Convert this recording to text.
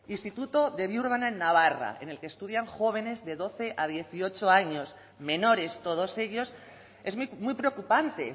instituto de biurrun en navarra en el que estudian jóvenes de doce a dieciocho años menores todos ellos es muy preocupante